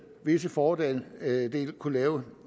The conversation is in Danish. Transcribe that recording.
visse fordele kunne lave